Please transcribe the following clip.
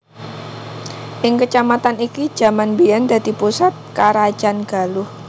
Ing kecamatan iki jaman mbiyen dadi pusat karajan Galuh